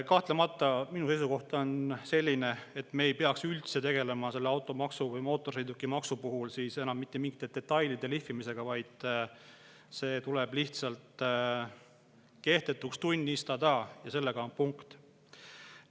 Kahtlemata, minu seisukoht on selline, et me ei peaks selle automaksu või mootorsõidukimaksu puhul üldse tegelema enam mingite detailide lihvimisega, vaid see tuleb lihtsalt kehtetuks tunnistada, ja punkt.